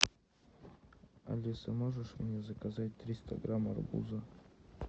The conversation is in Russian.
алиса можешь мне заказать триста грамм арбуза